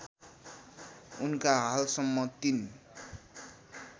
उनका हालसम्म ३